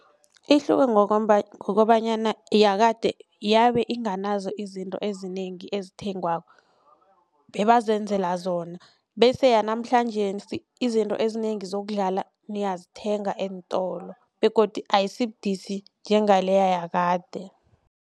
Ihluke ngokobanyana yakade yabe inganazo izinto ezinengi ezithengwako bebazenzela zona bese yanamhlanjesi izinto ezinengi zokudlala niyazithenga eentolo begodu ayisibudisi njengaleya yakade.